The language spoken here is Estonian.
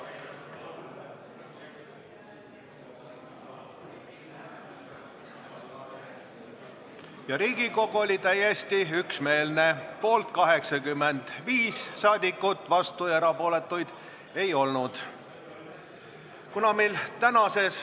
Hääletustulemused Riigikogu oli täiesti üksmeelne: poolt oli 85 liiget, vastuolijaid ja erapooletuid ei olnud.